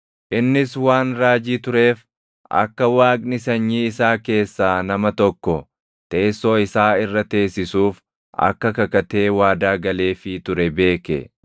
Innis waan raajii tureef akka Waaqni sanyii isaa keessaa nama tokko teessoo isaa irra teessisuuf akka kakatee waadaa galeefii ture beeke.